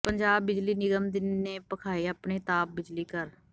ਪੰਜਾਬ ਬਿਜਲੀ ਨਿਗਮ ਨੇ ਭਖਾਏ ਆਪਣੇ ਤਾਪ ਬਿਜਲੀ ਘਰ